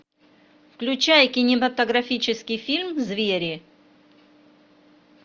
включай кинематографический фильм звери